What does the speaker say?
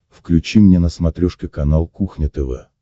включи мне на смотрешке канал кухня тв